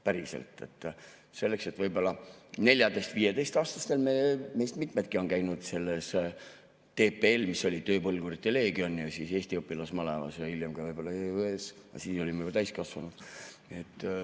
Võib-olla 14–15‑aastastena meist mitmedki käisid selles TPL‑is, mis oli tööpõlgurite leegion, ja siis Eesti õpilasmalevas ja hiljem ka võib‑olla EÜE‑s, aga siis olime juba täiskasvanud.